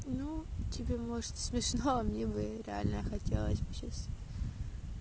ну тебе может смешно а мне бы реально хотелось бы сейчас